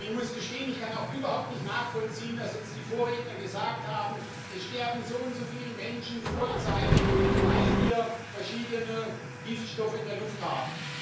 Und ich muss gestehen, ich kann auch überhaupt nicht nachvollziehen, dass die Vorredner gesagt haben Es sterben so und so viele Menschen vorzeitig, weil wir verschiedene Giftstoffe in der Luft haben.